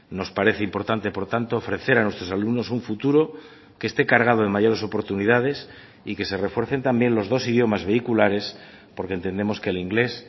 nos parece importante por tanto ofrecer a nuestros alumnos un futuro que esté cargado de mayores oportunidades y que se refuercen también los dos idiomas vehiculares porque entendemos que el inglés